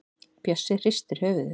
Bjössi hristir höfuðið.